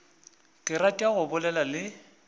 ke rata go bolela le